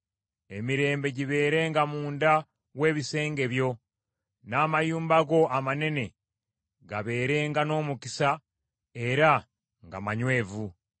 Emirembe gibeerenga munda w’ebisenge byo; n’amayumba go amanene gabeerenga n’omukisa era nga manywevu.”